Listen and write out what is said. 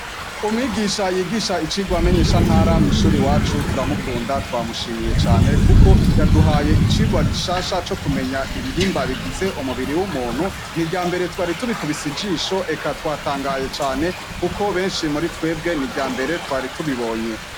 Umwigisha yigisha inyigisho menyeshantara mw'ishure iwacu turamukunda twamushimiye cane kuko yaduhaye icigwa gishasha co kumenya ibihimba bigize umubiri w'umuntu. Ni irya mbere twari tubikubise ijisho, eka twatangaye cane kuko benshi muri twebwe ni irya mbere twari tubibonye.